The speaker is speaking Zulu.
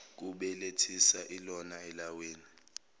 kubelethisa ilona elawina